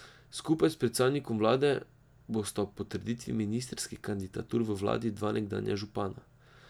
Skupaj s predsednikom vlade bosta ob potrditvi ministrskih kandidatur v vladi dva nekdanja župana.